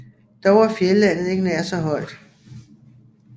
Dog er fjeldlandet ikke nær så højt